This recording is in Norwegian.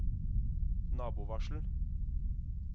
nabovarsel